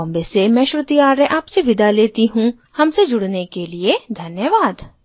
I I T Bombay से मैं श्रुति आर्य आपसे विदा लेती हूँ हमसे जुड़ने के लिए धन्यवाद